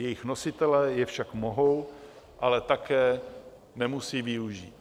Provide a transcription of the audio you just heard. Jejich nositelé je však mohou, ale také nemusí využít.